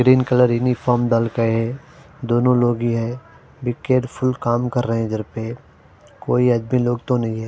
Green colour uniform बनते है दोनों लोग ही है बी केयरफुल काम कर रहे है घर पर कोई आदमी लोग तो नहीं है।